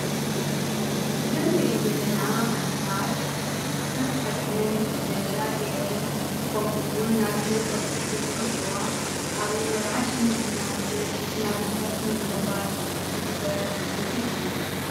ዘመርአን ዘለና ኣዴታት ሽፈንቲ ኸዲንን ነጸላ ገይረን ከምኡውን ናብ ኢድን ቈጽ ሒዘንዝኒየዋ ኣብ ነይምመርዓሽ ምግልና መድር ስማግልታት ምምቕባል ዝግበር ምርኢት እዩ።